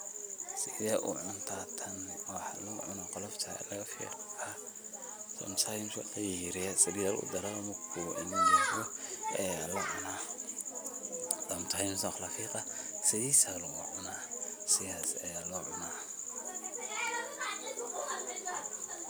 Side u cunta taan waxa locuna golofta lagafigaa, walayaryareya salit aya lagudara aya lacunaa sometimes walafigaa sidhii aya lagucuna sidhas aya locuna.